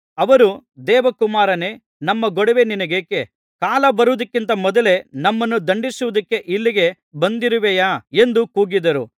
ಅವರು ದೇವರ ಕುಮಾರನೇ ನಮ್ಮ ಗೊಡವೆ ನಿನಗೇಕೆ ಕಾಲ ಬರುವುದಕ್ಕಿಂತ ಮೊದಲೇ ನಮ್ಮನ್ನು ದಂಡಿಸುವುದಕ್ಕೆ ಇಲ್ಲಿಗೆ ಬಂದಿರುವೆಯಾ ಎಂದು ಕೂಗಿದರು